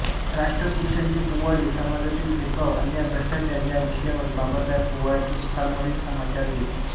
राष्ट्रपुरूषांचे पोवाडे समाजातील भेदभाव अन्याय भ्रष्टाचार या विषयांवर बाबासाहेब पोवाड्यातून खरमरीत समाचार घेत